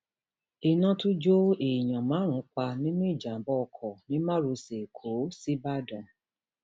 iná tún jó èèyàn márùn pa nínú ìjàmbá oko ní márosẹ ẹkọ síbàdàn